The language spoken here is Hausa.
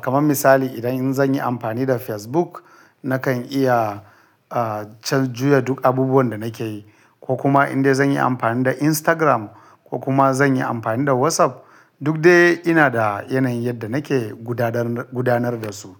Kaman misali idan zan yi amfani da Facebook nakan iya can juya duk abubuwan da nake yi ko kuma indai zan yi amfani da Instagram ko kuma zan yi amfani da WhatsApp duk dai ina da yanayin yadda nake gudanar da su.